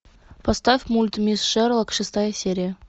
поставь мульт мисс шерлок шестая серия